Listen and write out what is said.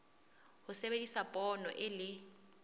ho sebedisa poone e le